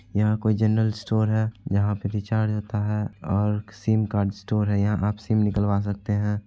यहा कोई general store है यहा रिचार्ज होता है ओर सिम कार्ड स्टोर है यहा आप सिम निकलवा सकते है।